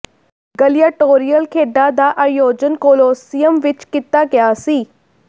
ਗਲੀਆਂਟੋਰੀਅਲ ਖੇਡਾਂ ਦਾ ਆਯੋਜਨ ਕੋਲੋਸੀਅਮ ਵਿਚ ਕੀਤਾ ਗਿਆ ਸੀ